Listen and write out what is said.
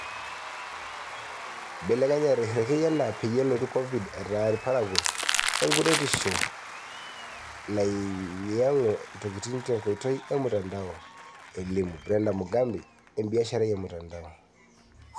"Ibelekenyate irekei enaa peyie elotu Covid, eeta ilparakuo enkuretisho nanyiangu intokitin tenkoitoi e mutandao," elimu Brenda Mugambi, ebiasharai e mutandao.